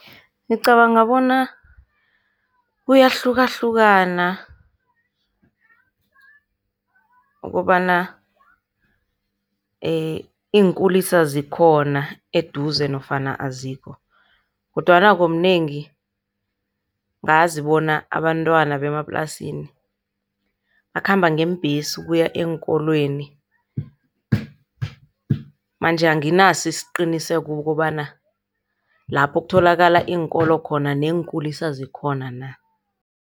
Ngicabanga bona kuyahlukahlukana ukobana iinkulisa zikhona eduze nofana azikho. Kodwana ngokunengi, ngazi bona abantwana bemaplasini bakhamba ngeembhesi ukuya eenkolweni. Manje anginaso isiqiniseko ukobana lapho kutholakala iinkolo khona neenkulisa zikhona na.